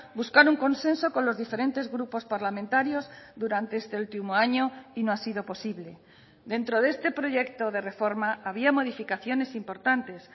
buscar un consenso con los diferentes grupos parlamentarios durante este último año y no ha sido posible dentro de este proyecto de reforma había modificaciones importantes